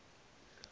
lolu